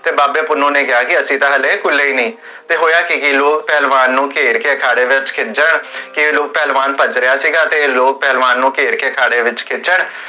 ਤੇ ਬਾਬੇ ਪੁੰਨੁ ਨੇ ਕਿਹਾ ਕੀ ਅਸੀਂ ਤਾ ਹਲੇ, ਕੁੱਲੇ ਹੀ ਨਹੀ ਫੇਰ ਹੋਇਆ ਕੀ, ਓਹ ਪਹਲਵਾਨ ਨੂੰ ਘੇਰ ਕੇ ਅਖਾੜੇ ਵਿਚ, ਕੀ ਲੋ ਪਹਲਵਾਨ ਭੱਜ ਰਿਹਾ ਸੀਗਾ, ਤੇ ਲੋਗ ਪਹਲਵਾਨ ਨੂੰ ਘੇਰ ਕੇ ਅਖਾੜੇ ਵਿਚ ਪੁਜਣ ਤੇ